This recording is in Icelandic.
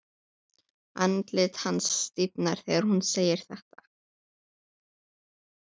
Andlit hans stífnar þegar hún segir þetta.